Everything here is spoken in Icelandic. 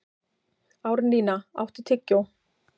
Árnína, áttu tyggjó?